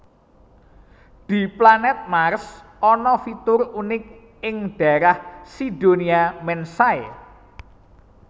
Di planèt Mars ana fitur unik ing dhaérah Cydonia Mensae